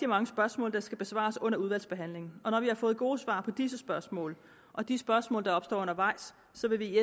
mange spørgsmål der skal besvares under udvalgsbehandlingen og når vi har fået gode svar på disse spørgsmål og de spørgsmål der opstår undervejs så vil vi